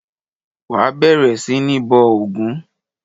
Wà á bẹ̀rẹ̀ sí ní bọ ògún!